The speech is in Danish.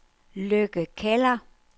Lykke Keller